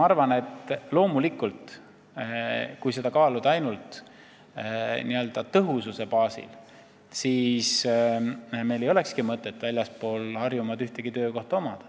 Loomulikult, kui seda kaaluda ainult n-ö tõhususe baasil, siis meil ei olekski mõtet väljaspool Harjumaad ühtegi töökohta hoida.